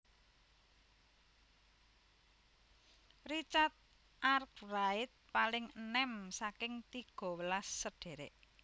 Richard Arkwright paling enèm saking tigawelas sedherek